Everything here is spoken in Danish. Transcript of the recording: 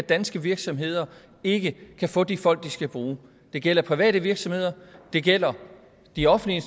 at danske virksomheder ikke kan få de folk de skal bruge det gælder private virksomheder og det gælder de offentlige